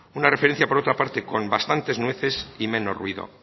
una referencia por otra parte con bastantes nueces y menos ruido